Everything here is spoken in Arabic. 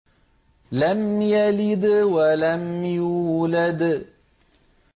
لَمْ يَلِدْ وَلَمْ يُولَدْ